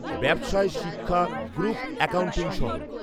ব্যবসায় শিক্ষা group accounting সহ